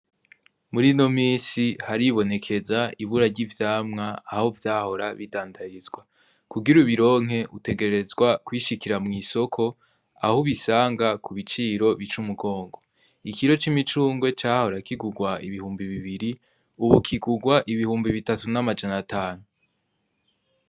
Muri no misi haribonekeza ibura ry'ivyamwa aho vyahora bidandarizwa kugira ubironke utegerezwa kwishikira mw'isoko aho ubisanga ku biciro bica umugongo ikiro c'imicungwe cahora kigurwa ibihumbi bibiri ubu kigurwa ibihumbi bitatu n'amajanatanu.